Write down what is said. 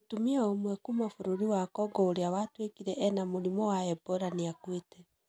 Mũtumia ũmwe kuuma bũrũri wa Congo ũrĩa watuĩkire ena mũrimũ wa Ebola nĩ akuĩte.